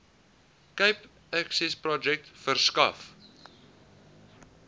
cape accessprojek verskaf